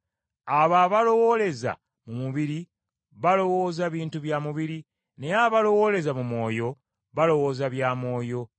Abo abalowooleza mu mubiri balowooza bintu bya mubiri, naye abalowooleza mu Mwoyo balowooza bya Mwoyo.